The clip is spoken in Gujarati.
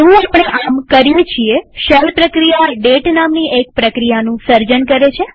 જેવું આપણે આમ કરીએ છીએ શેલ પ્રક્રિયા ડેટ નામની એક પ્રક્રિયાનું સર્જન કરે છે